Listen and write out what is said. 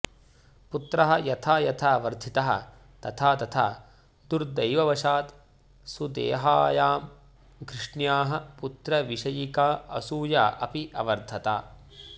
पुत्रः यथा यथा वर्धितः तथा तथा दुर्दैववशात् सुदेहायाम् घृष्ण्याः पुत्रविषयिका असूया अपि अवर्धत